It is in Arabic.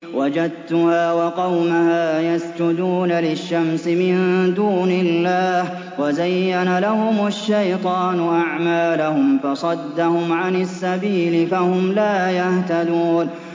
وَجَدتُّهَا وَقَوْمَهَا يَسْجُدُونَ لِلشَّمْسِ مِن دُونِ اللَّهِ وَزَيَّنَ لَهُمُ الشَّيْطَانُ أَعْمَالَهُمْ فَصَدَّهُمْ عَنِ السَّبِيلِ فَهُمْ لَا يَهْتَدُونَ